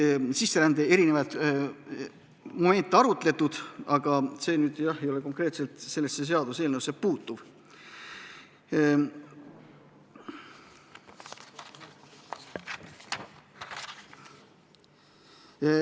Siis sai sisserändega seotud erinevaid momente arutatud, aga see sellesse seaduseelnõusse ei puutu.